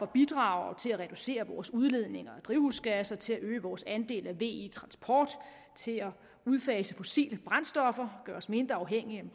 bidrager til at reducere vores udledning af drivhusgasser til at øge vores andel af ve transport til at udfase fossile brændstoffer gøre os mindre afhængige